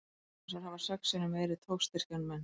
Simpansar hafa sex sinnum meiri togstyrk en menn.